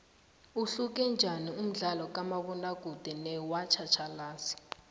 uhluke njaniumdlalokamabona kude nowatjhatjhalazi